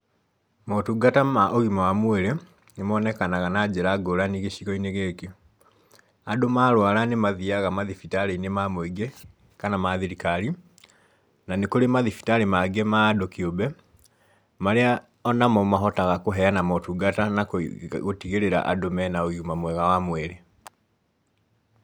Motungata ma ũgima wa mwĩrĩ nĩmonekanaga na njĩra ngũrani gĩcigo-inĩ gĩkĩ. Andũ marwara nĩmathiaga mathibitarĩ-inĩ ma mũingĩ kana ma thirikari, na nĩkũrĩ mathibitarĩ mangĩ ma andũ kĩũmbe, marĩa onamo mahotaga kũheana motungata na gũtigĩrĩra andũ mena ũgima mwega wa mwĩrĩ.